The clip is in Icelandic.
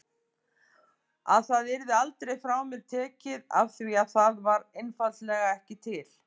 Að það yrði aldrei frá mér tekið afþvíað það var einfaldlega ekki til.